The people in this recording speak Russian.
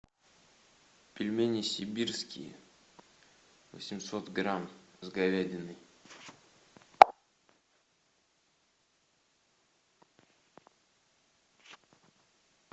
пельмени сибирские восемьсот грамм с говядиной